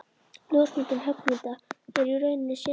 Ljósmyndun höggmynda er í rauninni sérgrein.